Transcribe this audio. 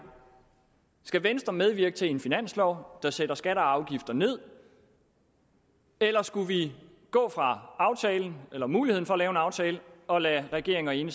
skal venstre medvirke til en finanslov der sætter skatter og afgifter ned eller skal vi gå fra aftalen eller muligheden for at lave en aftale og lade regeringen